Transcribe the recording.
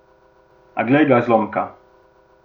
A glej ga zlomka!